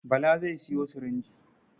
Bala zai sayo sirinji.